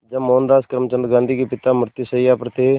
जब मोहनदास करमचंद गांधी के पिता मृत्युशैया पर थे